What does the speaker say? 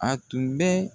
A tun bɛ